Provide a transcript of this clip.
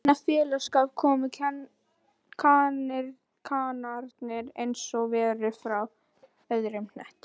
Inní þennan félagsskap komu kanarnir einsog verur frá öðrum hnöttum